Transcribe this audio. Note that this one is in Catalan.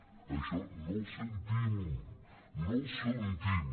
en això no els sentim no els sentim